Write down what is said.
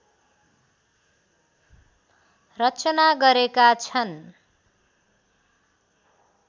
रचना गरेका छन्